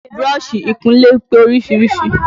Búrọ́ṣì ìkúnlé pé oríṣiríṣi